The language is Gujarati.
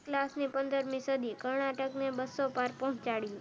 ક્લાસ ની પંદર મી સદી કર્ણાટક ને બસ્સો બાર પહોચાડ્યું